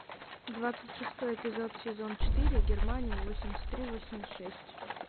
двадцать шестой эпизод сезон четыре германия восемьдесят три восемьдесят шесть